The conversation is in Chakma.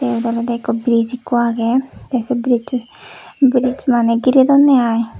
eyot olodey ekko bridge ekku agey tey say brijjo brijjo maneh girey dunney ai.